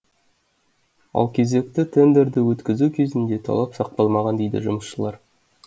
ал кезекті тендерді өткізу кезінде талап сақталмаған дейді жұмысшылар